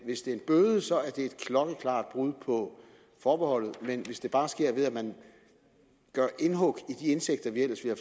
hvis det er en bøde så er det et klokkeklart brud på forbeholdet men hvis det bare sker ved at man gør indhug i de indtægter vi ellers ville